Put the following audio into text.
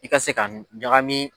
I ka se ka ɲagami.